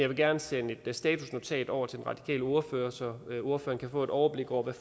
vil gerne sende et statusnotat over til den radikale ordfører så ordføreren kan få et overblik over hvad